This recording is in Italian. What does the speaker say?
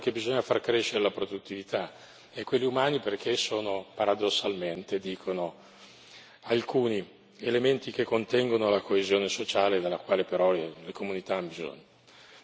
quelli del lavoro, perché bisogna far crescere la produttività e quelli umani, perché sono, paradossalmente dicono, alcuni elementi che contengono la coesione sociale dalla quale però le comunità hanno bisogno.